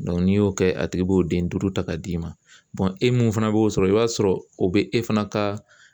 n'i y'o kɛ a tigi b'o den duuru ta ka d'i ma e mun fana b'o sɔrɔ i b'a sɔrɔ o be e fana ka